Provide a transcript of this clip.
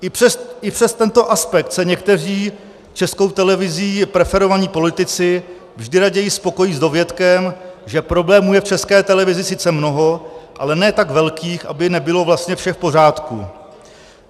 I přes tento aspekt se někteří Českou televizí preferovaní politici vždy raději spokojí s dovětkem, že problémů je v České televizi sice mnoho, ale ne tak velkých, aby nebylo vlastně vše v pořádku.